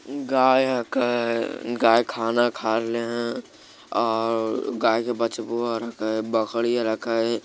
गाय गाय खाना खाले है ओर गाय का बचबू है बकरी रेखे ।